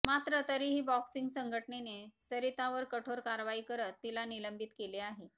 मात्र तरीही बॉक्सिंग संघटनेने सरितावर कठोर कारवाई करत तिला निलंबित केले आहे